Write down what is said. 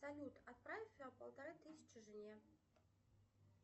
салют отправь полторы тысячи жене